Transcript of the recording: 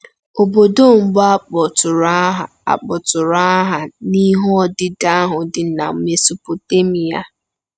Obodo mbụ a kpọtụrụ aha a kpọtụrụ aha n’ihe odide ahụ dị na Mesopotemia.